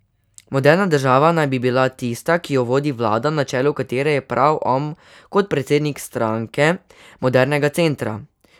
Moderna država naj bi bila tista, ki jo vodi vlada, na čelu katere je prav on kot predsednik Stranke modernega centra.